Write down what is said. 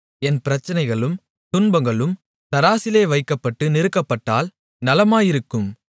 என் பிரச்சனைகளும் துன்பங்களும் தராசிலே வைக்கப்பட்டு நிறுக்கப்பட்டால் நலமாயிருக்கும்